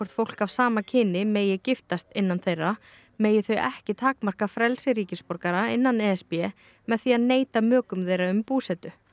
fólk af sama kyni megi giftast innan þeirra megi þau ekki takmarka frelsi ríkisborgara innan e s b með því að neita mökum þeirra um búsetu